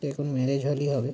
দেখুন marriage hall ই হবে।